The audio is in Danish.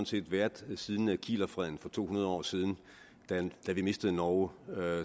set været siden kielerfreden for to hundrede år siden da vi mistede norge